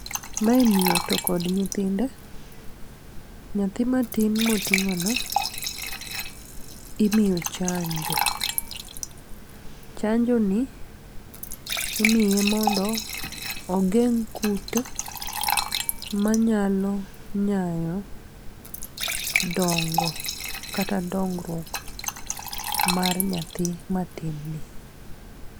Mae miyo to kod nyithinde, nyathi matin moting'o no imiyo chanjo. Chanjo ni imiye mondo ogeng' kute manyalo nyayo dongo kata dongruok mar nyathi matin ni.